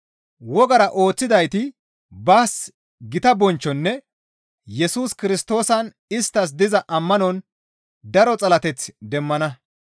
Wogara ooththidayti baas gita bonchchonne Yesus Kirstoosan isttas diza ammanon daro xalateth demmana.